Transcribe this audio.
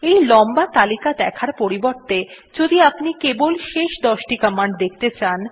এই লম্বা তালিকা দেখার পরিবর্তে যদি আপনি কেবল শেষ দশটি দেখতে চান